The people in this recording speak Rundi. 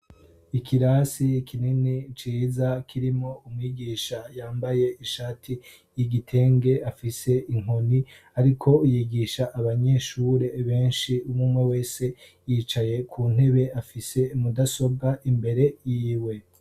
Ikirasi kinini ciza kirimo umwigisha yambaye ishati y'igitenge, afise inkoni ariko yigisha abanyeshure benshi. Umwe umwe wese yicaye ku ntebe, afise mudasobwa imbere yiwe.